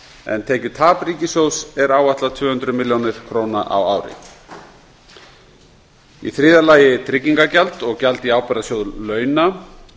en tekjutap ríkissjóðs er áætlað tvö hundruð milljóna króna á ári þriðja tryggingagjald og gjald í ábyrgðasjóð launa